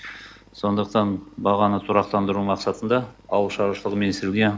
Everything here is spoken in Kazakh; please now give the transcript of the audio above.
сондықтан бағаны тұрақтандыру мақсатында ауыл шаруашылығы министрілігіне